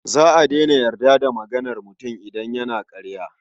Za a daina yarda da maganar mutum idan yana ƙarya.